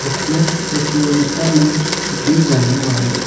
ठिनेस प्रतियोगिता में दी जाने वाली--